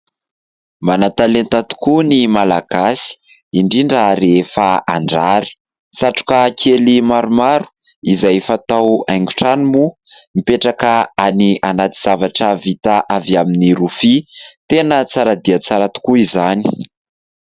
Manan-talenta tokoa ny malagasy indrindra rehefa handrary, satroka kely maromaro izay efa atao haingotrano moa, mipetraka any anaty zavatra vita avy amin'ny rofia, tena tsara dia tsara tokoa izany.